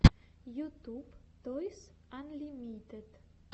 ютюб тойс анлимитед